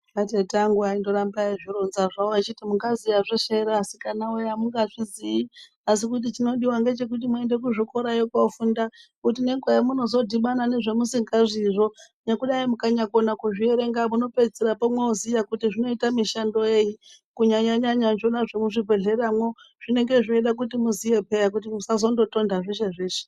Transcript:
A tete angu aindo ramba eyi zvironza zvawo vachita munga ziya zveshe ere asikana woye amunga zviziyi asi chino diwa ngechekuti muende ku zvikorayo ko funda nge nguva yo yamuno dhibana nezva musingazwi zvoo nekudai mukanya kona kuzvi erenga muno pedzisira moziya kuti zvino ita mishando yei kunyanya nyanya izvona zvemu zvibhedhlera mwo zvinonga zveida kuti muziye peya kuti musazondo tonda zveshe zveshe.